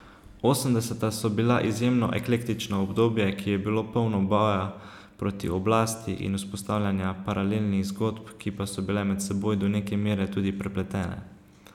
Osemdeseta so bila izjemno eklektično obdobje, ki je bilo polno boja proti oblasti in vzpostavljanja paralelnih zgodb, ki pa so bile med seboj do neke mere tudi prepletene.